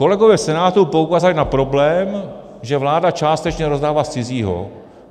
Kolegové v Senátu poukázali na problém, že vláda částečně rozdává z cizího.